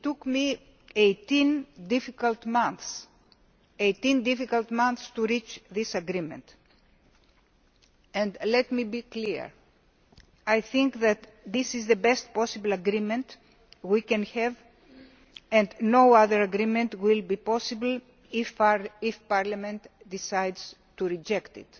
It took me 18 difficult months to reach this agreement. And let me be clear I think that this is the best possible agreement we can have, and no other agreement will be possible if Parliament decides to reject it.